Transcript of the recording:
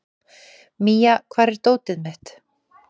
Mía, hvar er dótið mitt?